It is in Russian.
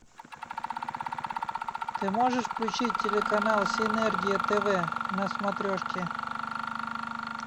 ты можешь включить телеканал синергия тв на смотрешке